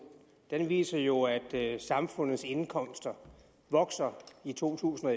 viser jo at samfundets indkomster vokser i to tusind og